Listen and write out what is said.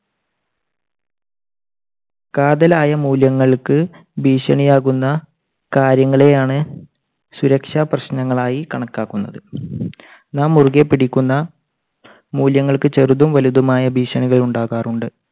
കാതലായ മൂല്യങ്ങൾക്ക് ഭീഷണിയാകുന്ന കാര്യങ്ങളെ ആണ് സുരക്ഷാ പ്രശ്നങ്ങൾ ആയി കണക്കാക്കുന്നത്. നാം മുറുകെപിടിക്കുന്ന മൂല്യങ്ങൾക്ക് ചെറുതും വലുതുമായ ഭീഷണികൾ ഉണ്ടാകാറുണ്ട്.